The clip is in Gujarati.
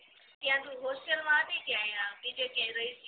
ત્યાં તું હોસ્ટેલ માં રઈતી કે બીજે ક્યાંય રઈતી